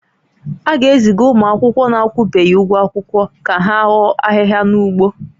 A ga-eziga ụmụ akwụkwọ na-akwụbeghị ụgwọ akwụkwọ ha ka ha hoo ahịhịa n'ugbo